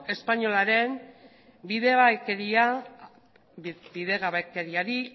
espainolaren bidegabekeriari